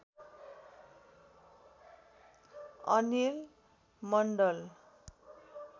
Anil Mandal